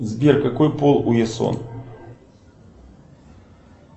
сбер какой пол у ясон